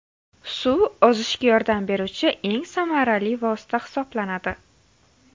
Suv ozishga yordam beruvchi eng samarali vosita hisoblanadi.